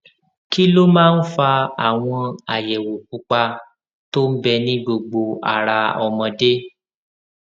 kí ló máa ń fa àwọn àyèwò pupa tó ń bẹ ní gbogbo ara ọmọdé